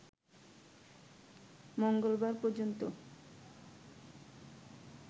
মঙ্গলবার পর্যন্ত